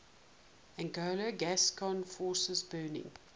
anglo gascon forces burning